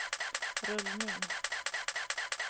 rullning